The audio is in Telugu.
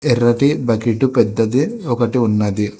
ఇక్కడైతే బకెట్ పెద్దది ఒకటి ఉన్నది.